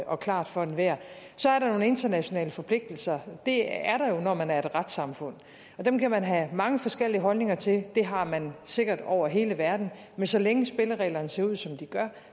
og klart for enhver så er der nogle internationale forpligtelser og det er der jo når man er et retssamfund dem kan man have mange forskellige holdninger til det har man sikkert over hele verden men så længe spillereglerne ser ud som de gør